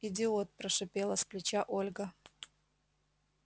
идиот прошипела с плеча ольга